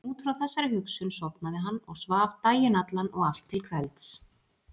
Út frá þessari hugsun sofnaði hann og svaf daginn allan og allt til kvelds.